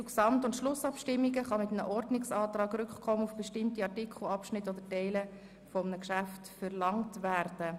GO kann bis zur Gesamt- und Schlussabstimmung mit einem Ordnungsantrag Rückkommen auf bestimmte Artikel, Abschnitte oder Teile eines Geschäfts verlangt werden.